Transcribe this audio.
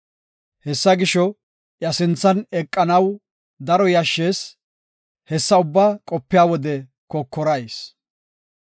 Hessa gisho, iya sinthan eqanaw daro yashshees; hessa ubbaa qopiya wode kokorayis.